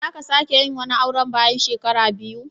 Zan ka sake yin wani auren bayan shekara biyu.